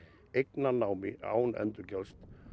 eignarnámi án endurgjalds